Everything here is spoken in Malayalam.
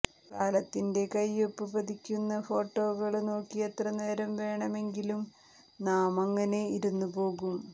കാലത്തിന്റെ കൈയൊപ്പ് പതിപ്പിക്കുന്ന ഫോട്ടോകള് നോക്കി എത്ര നേരം വേണമെങ്കിലും നാമങ്ങനെ ഇരുന്നുപോകും